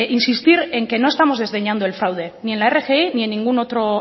insistir en que no estamos desdeñando el fraude ni en la rgi ni en ningún otro